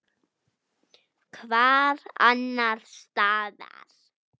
Hvar annars staðar!